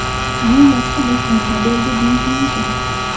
Bu yaxshi boshlanma bo‘ldi deyish mumkin.